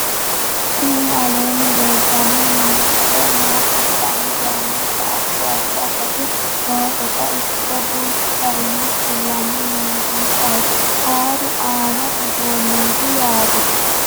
tini aleenni leeltanno misi maa kultanno yaannohura addi addi akati nooseta ikkite duuchchu garinni kullanni muziiqaho huuro aanno uduunneeti yaate